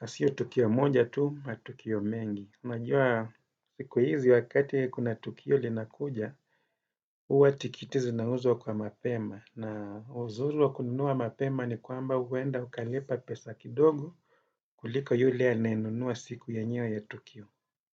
Na sio tukio moja tu, matukio mengi. Unajua siku hizi wakati kuna tukio linakuja, huwa tikiti zinauzwa kwa mapema. Na uzuri wa kununua mapema ni kwamba huenda ukalipa pesa kidogo kuliko yule anayenunua siku yenyewe ya tukio.